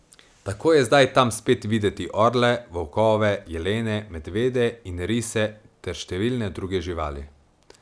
Tako je zdaj tam spet videti orle, volkove, jelene, medvede in rise ter številne druge živali.